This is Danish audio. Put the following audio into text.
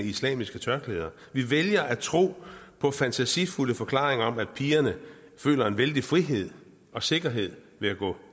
islamiske tørklæder vi vælger at tro på fantasifulde forklaringer om at pigerne føler en vældig frihed og sikkerhed ved at gå